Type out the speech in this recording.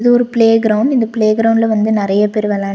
ஒரு playground இந்த பிளே கிரவுண்ட்ல வந்து நெறைய பேர் வெளான்--